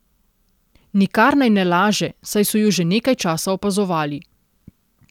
Nikar naj ne laže, saj so ju že nekaj časa opazovali.